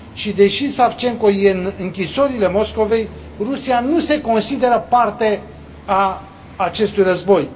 Deși Savchenko e în închisorile Moscovei, Rusia nu se consideră parte a acestui război.